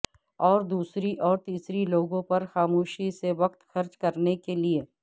اور دوسری اور تیسری لوگوں پر خاموشی سے وقت خرچ کرنے کے لئے